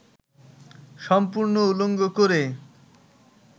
সম্পূর্ণ উলঙ্গ করে